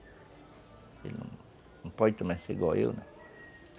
Ele não pode também ser igual eu, né?